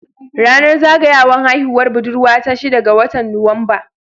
Ranar zaga yawan haihuwar budurwa ta shida ga watan Nuwamba.